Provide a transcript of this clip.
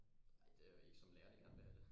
Nej det er jo ik som lærerne gerne vil have det